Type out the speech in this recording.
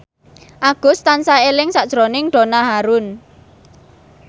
Agus tansah eling sakjroning Donna Harun